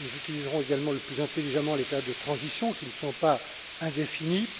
Nous utiliserons également le plus intelligemment les pertes de transition, qui ne sont pas indéfinies